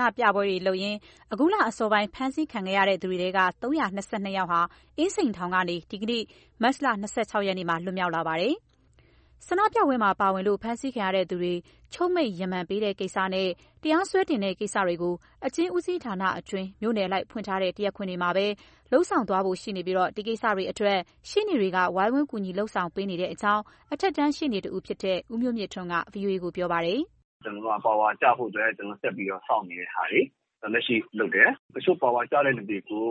န္ဒပြပွဲတွေလုပ်ရင်း အခုလအစောပိုင်း ဖမ်းဆီခံရသူတွေထဲက ၃၂၂ ယောက်ဟာ အင်းစိန်ထောင်ကနေ ဒီကနေ့ မတ်လ ၂၆ ရက်မှာ လွတ်မြောက် လာပါတယ်။ ဆန္ဒပြပွဲမှာပါဝင်လို့ ဖမ်းဆီးခံရသူတွေ ချုပ်မိန့်ရီမန် ပေးတဲ့ကိစ္စနဲ့ တရားစွဲတင်တဲ့ ကိစ္စတွေကို အကျဉ်းဦးစီးဌာနအတွင်း မြို့နယ်အလိုက် ဖွင့်ထားတဲ့ တရားခွင်တွေမှာပဲ လုပ်ဆောင်သွားဖို့ရှိပြီး ဒီကိစ္စတွေအတွက် ရှေ့နေတွေက ဝိုင်းဝန်းကူညီ လုပ်ဆောင်ပေးနေကြောင်း အထက်တန်း ရှေ့နေတဦးဖြစ်သူ ဦးမျိုးမြင့်ထွန်းက ဗွီအိုအေကို ပြောပါတယ်။ “ ကျနော်တို့က ပါဝါကျဖို့အတွက် ဆက်ပြီးစောင့်နေတဲ့ဟာတွေ လက်ရှိလုပ်တယ်၊ တချို့ပါဝါကျတဲ့သူတွေကို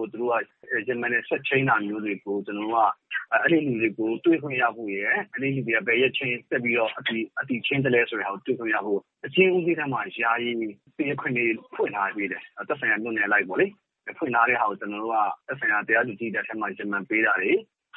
ရီမန်နဲ့ ဆက်ချိန်းတာ မျိုးတွေကို ကျနော်တို့က အဲဒီလူတွေကို တွေ့ခွင့်ရဖို့ အဲဒီလူတွေကို ဘယ်နေ့အတည်ချိန်းလဲဆိုတာ တွေ့ခွင့်ရဖို့ အကျဉ်းဦးစီးထဲမှာ ယာယီတရားခွင်တွေ ဖွင့်ထားပေးတယ်၊ သက်ဆိုင်ရာ မြို့နယ်အလိုက်ပေါ့လေ။ ဖွင့်ထားတာကို ကျနော်တို့က သက်ဆိုင်ရာ တရားသူကြီးဆီမှာ ရီမန်ပေးတာတွေ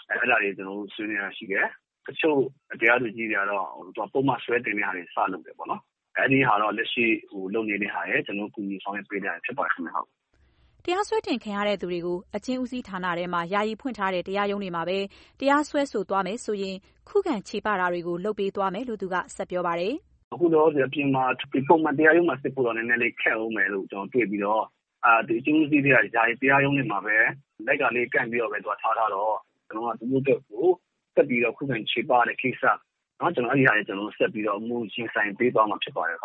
အဲဒါတွေ ကျနော်တို့ ဆွေးနွေးတာရှိတယ်၊ တချို့ တရားသူကြီးတွေကတော့ ပုဒ်မစွဲတင်တာတွေ စလုပ်တယ်ပေါ့။ အဲဒါကတော့ လက်ရှိလုပ်နေတာရယ် ကျနော်တို့ ကူညီဆောင်ရွက်ပေးတာရယ် ဖြစ်ပါတယ်ခင်ဗျ။” တရားစွဲတင်ခံရသူတွေကို အကျဉ်းဦးစီးဌာနထဲမှာ ယာယီဖွင့်ထားတဲ့ တရားရုံးတွေမှာပဲ တရာစွဲဆိုသွားမယ်ဆိုရင် ခုခံချေပတာတွေကို လုပ်ပေးသွားမယ်လို့ သူက ဆက်ပြောပါတယ်။ “ အခုလောလောဆယ် အပြင်မှာ ပုံမှန်တရားရုံးမှာ စစ်ဖို့အတွက်တော့ နည်းနည်းလေး ခက်ဦးမယ်လို့ တွေ့ပြီးတော့ အကျဉ်းဦးစီးထဲက ယာယီတရားရုံးမှာပဲ လိုက်ကာလေးတွေ ကန့်ပြီးတော့ပဲ ထားထားတော့၊ ကျနော်တို့က သူတို့အတွက်ကို ဆက်ပြီး ခုခံချေပတဲ့ကိစ္စ အမှုရင်ဆိုင် ပေးသွားမှာ ဖြစ်ပါတယ်။”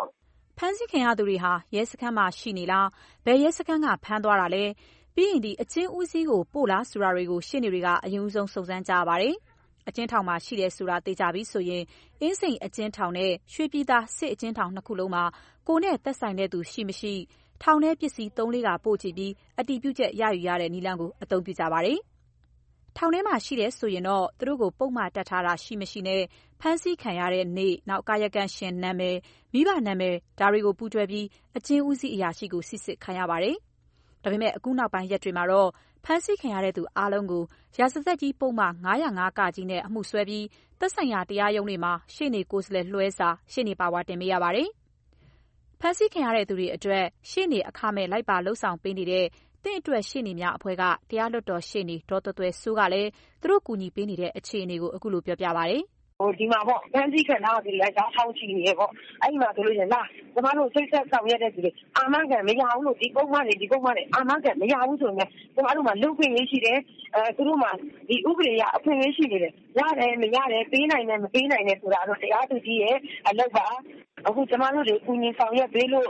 ဖမ်းဆီးခံရသူဟာ ရဲစခန်းမှာရှိနေလား၊ ဘယ်ရဲစခန်းက ဖမ်းသွားတာလဲ၊ ပြီးရင် အကျဉ်းဦးစီးကို ပို့လားဆိုတာကို ရှေ့နေတွေက အရင်ဦးဆုံး စုံစမ်းကြရပါတယ်။ အကျဉ်းထောင်မှာ ရှိတယ်ဆိုတာ သေချာပြီဆိုရင် အင်းစိန်အကျဉ်းထောင်နဲ့ ရွှေပြည်သာ စစ်အကျဉ်းထောင် နှစ်ခုလုံးမှာ ကိုယ်နဲ့သက်ဆိုင်သူ ရှိ၊ မရှိ ထောင်ထဲပစ္စည်းသုံးလေးခါ ပို့ကြည့်ပြီး အတည်ပြုချက် ရယူတဲ့ နည်းလမ်းကို အသုံးပြုကြ ပါတယ်။ ထောင်ထဲမှာ ရှိတယ်ဆိုရင် သူတို့ကို ပုဒ်မတပ်ထားတာ ရှိ၊ မရှိနဲ့ ဖမ်းဆီးခံရတဲ့နေ့၊ ကာယံကံရှင်နာမည်၊ မိဘနာမည် ဒါတွေကို ပူးတွဲပြီး အကျဉ်းဦးစီး အရာရှိကို စိစစ်ခိုင်းရပါတယ်။ ဒါပေမဲ့ အခုနောက်ပိုင်း ရက်တွေမှာတော့ ဖမ်းဆီးခံရသူ အားလုံးကို ရာဇသတ်ကြီး ပုဒ်မ ၅၀၅ -က နဲ့အမှုစွဲပြီး သက်ဆိုင်ရာ တရားရုံးတွေမှာ ရှေ့နေကိုယ်စားလှယ်လွှဲစာ ( ရှေ့နေပါဝါ) တင်ပေးရပါတယ်။ ဖမ်းဆီးခံရသူတွေအတွက် ရှေ့နေအခမဲ့ လိုက်ပါဆောင်ရွက်နေတဲ့ သင့်အတွက်ရှေ့နေများအဖွဲ့က တရားလွှတ်တော်ရှေ့နေ ဒေါ်သွယ်သွယ်စိုးက လည်း သူတို့ကူညီပေးနေတဲ့ အခြေအနေကို အခုလိုပြောပါတယ်။ “ ဒီမှာ ဖမ်းဆီခံရတာတွေရှိပြီး ကတည်းက တောက်လျှောက်ရှိနေတယ်၊ အဲဒီမှာ လာ ကျမတို့ ချိတ်ဆက်ဆောင်ရွက်သူတွေ အာမခံ မရဘူးလို့ ဒီပုဒ်မတွေ၊ ဒီပုဒ်မတွေ အာမခံ မရဘူးဆိုပေမဲ့ ကျမတို့မှာ လူ့အခွင့်အရေးရှိတယ်၊ သူတို့မှာ ဥပဒေအရ အခွင့်အရေး ရှိနေတယ်၊ ရတယ် မရတယ် ပေးနိုင်တယ် မပေးနိုင်တယ် ဆိုတာကတော့ တရားသူကြီးရဲ့ အလုပ်ပါ။ အခုကျမတို့တွေ ကူညီ ဆောင်ရွက်ပေးလို့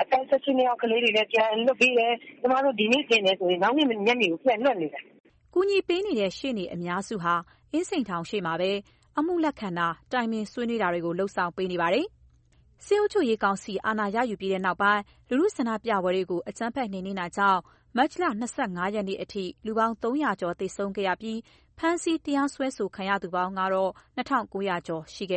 အသက် ၁၈ နှစ်အောက်ကလေးတွေလည်း ပြန်လွှတ်ပေးတယ်၊ ကျမတို့ ဒီနေ့တင်တယ်ဆိုရင် နောက်နေ့ညနေကို ပြန်လွှတ်နေတယ်။” ကူညီပေးနေတဲ့ ရှေ့နေအများစုဟာ အင်းစိန်ထောင်အရှေ့မှာပဲ အမှုလက်ခံတာ၊ တိုင်ပင်ဆွေးနွေးတာတွေ လုပ်ဆောင် ပေးနေတာပါ။ စစ်အုပ်ချုပ်ရေးကောင်စီ အာဏာရယူပြီးနောက်ပိုင်း လူထု ဆန္ဒပြပွဲတွေကို အကြမ်းဖက် နှိမ်နင်းနေတာကြောင့် မတ်လ ၂၅ ရက်အထိ လူပေါင်း ၃၀၀ ကျော်သေဆုံးခဲ့ပြီး ဖမ်းဆီး၊ တရားစွဲဆိုခံရသူ စုစုပေါင်း ၂၉၀၀ ကျော်ရှိခဲ့